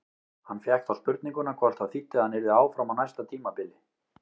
Hann fékk þá spurninguna hvort það þýddi að hann yrði áfram á næsta tímabili?